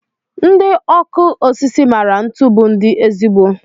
Ndị ọkụ osisi maara ntu bụ ndi ezigbo.